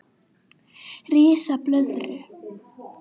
Ris blöðru